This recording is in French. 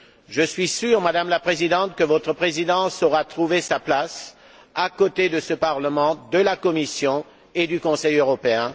Je suis sûr, Madame la Présidente, que votre Présidence saura trouver sa place aux côtés de ce Parlement, de la Commission et du Conseil européen.